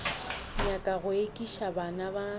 nyaka go ekiša bana ba